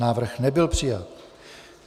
Návrh nebyl přijat.